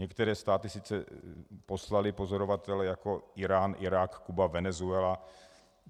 Některé státy sice poslaly pozorovatele - jako Írán, Irák, Kuba, Venezuela.